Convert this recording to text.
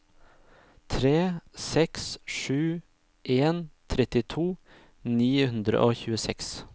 tre seks sju en trettito ni hundre og tjueseks